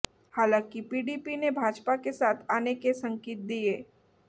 हालांकि पीडीपी ने भाजपा के साथ आने के संकेत दिए